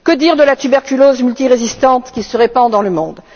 Que dire de la tuberculose multirésistante qui se répand dans le monde?